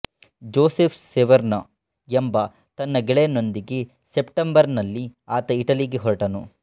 Joseph Severn ಎಂಬ ತನ್ನ ಗೆಳೆಯನೊಂದಿಗೆ ಸೆಪ್ಟೆಂಬರ್ನಲ್ಲಿ ಆತ ಇಟಲಿಗೆ ಹೊರಟನು